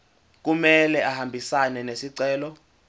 kumele ahambisane nesicelo